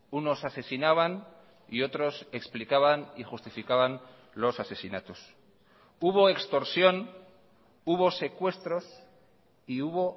unos asesinaban y otros explicaban y justificaban los asesinatos hubo extorsión hubo secuestros y hubo